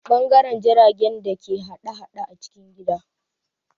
Ɓangaren jiragen da ke hada-hada a cikin gida